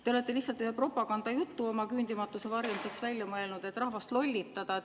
Te olete lihtsalt ühe propagandajutu oma küündimatuse varjamiseks välja mõelnud, et rahvast lollitada.